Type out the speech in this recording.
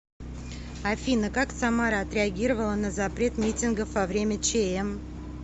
афина как самара отреагировала на запрет митингов во время чм